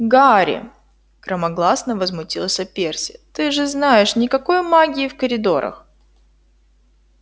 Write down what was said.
гарри громогласно возмутился перси ты же знаешь никакой магии в коридорах